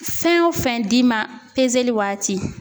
Fɛn o fɛn d'i ma waati